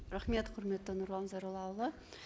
рахмет құрметті нұрлан зайроллаұлы